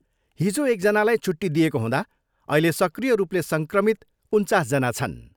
हिजो एकजनालाई छुट्टी दिएको हुँदा अहिले सक्रिय रूपले सङ्क्रमित उन्चासजना छन्।